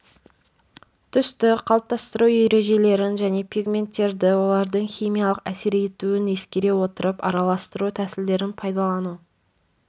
түсті қалыптастыру ережелерін және пигменттерді олардың химиялық әсер етуін ескере отырып араластыру тәсілдерін пайдалану